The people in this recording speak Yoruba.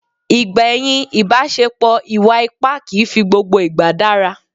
Ìgbẹ̀yìn ìbaṣepò ìwà ipá kìí fi gbogbo ìgbà dára.